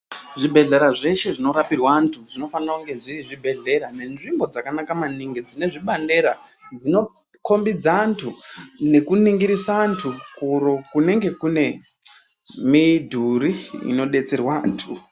Zvi bhehlera zveshe zvino rapirwa andu zvino fanirwe kunge zviri zvi bhehlera nenzvimbo dzaka naka maningi dzine zvibandera dzino kombidza andu neku ningirisa andu kuro kunenge kune midhuru ino betserwa andu.